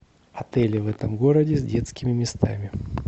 отели в этом городе с детскими местами